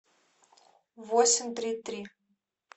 восемь три три